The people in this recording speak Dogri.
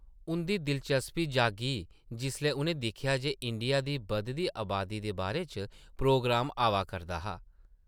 उंʼदी दिलचस्पी जागी जिसलै उʼनें दिक्खेआ जे इंडिया दी बधदी अबादी दे बारे च प्रोग्राम आवा करदा हा ।